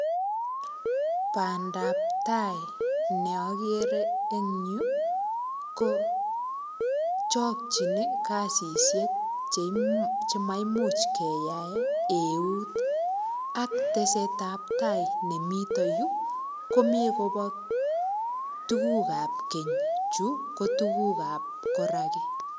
Bandab tai neokere en yu, KO chokchi kasisiek chemaimuch keyaen eut. Tesetab tai nemiten yu, komi kobo tuguuk ak keny. Chu ko tuguuk ab koraki,